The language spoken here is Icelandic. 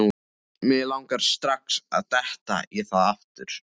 Mig langaði strax að detta í það aftur.